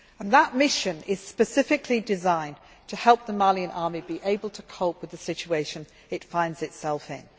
us. That mission is specifically designed to help the Malian army be able to cope with the situation it finds itself